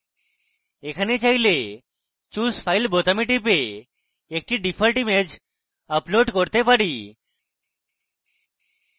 এখানে file choose file বোতামে টিপে একটি ডিফল্ট image upload করতে পারি